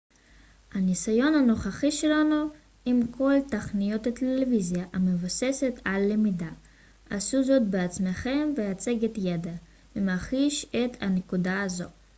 הניסיון הנוכחי שלנו עם כל תכניות הטלוויזיה המבוססות על למידה עשו זאת בעצמכם והצגת ידע ממחיש את הנקודה הזו